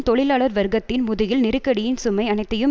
தொழிலாளர் வர்க்கத்தின் முதுகில் நெருக்கடியின் சுமை அனைத்தையும்